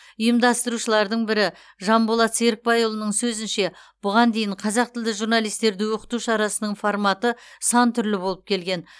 ұйымдастырушылардың бірі жанболат серікбайұлының сөзінше бұған дейін қазақ тілді журналистерді оқыту шарасының форматы сан түрлі болып келген